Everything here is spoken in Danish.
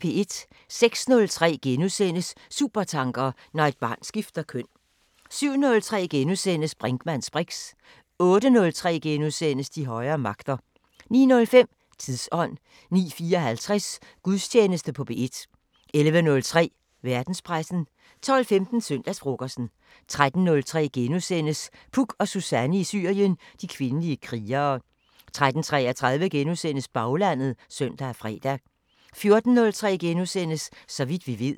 06:03: Supertanker: Når et barn skifter køn * 07:03: Brinkmanns briks * 08:03: De højere magter * 09:05: Tidsånd 09:54: Gudstjeneste på P1 11:03: Verdenspressen 12:15: Søndagsfrokosten 13:03: Puk og Suzanne i Syrien: De kvindelige krigere * 13:33: Baglandet *(søn og fre) 14:03: Så vidt vi ved *